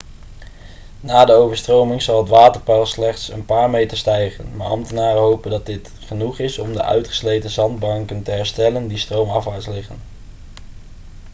na de overstroming zal het waterpeil slechts een paar meter stijgen maar ambtenaren hopen dat dit genoeg is om de uitgesleten zandbanken te herstellen die stroomafwaarts liggen